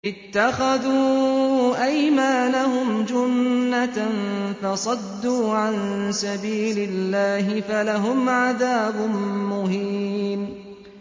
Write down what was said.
اتَّخَذُوا أَيْمَانَهُمْ جُنَّةً فَصَدُّوا عَن سَبِيلِ اللَّهِ فَلَهُمْ عَذَابٌ مُّهِينٌ